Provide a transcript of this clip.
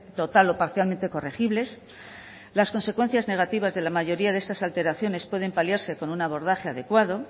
total o parcialmente corregibles las consecuencias negativas de la mayoría de estas alteraciones pueden paliarse con un abordaje adecuado